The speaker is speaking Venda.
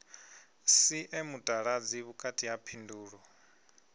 sie mutaladzi vhukati ha phindulo